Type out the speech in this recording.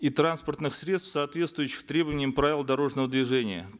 и транспортных средств соответствующих требованиям правил дорожного движения